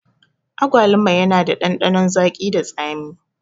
Agwaluma yana da ɗanɗanon zagi da tsami